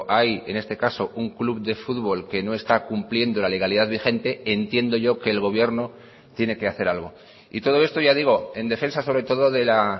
hay en este caso un club de fútbol que no está cumpliendo la legalidad vigente entiendo yo que el gobierno tiene que hacer algo y todo esto ya digo en defensa sobre todo de la